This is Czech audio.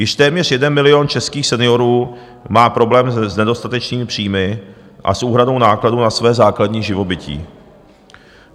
Již téměř jeden milion českých seniorů má problém s nedostatečnými příjmy a s úhradou nákladů na své základní živobytí.